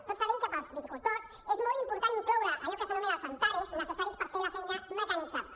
tots sabem que per als viticultors és molt important incloure allò que s’anomenen les antares necessàries per fer la feina mecanitzable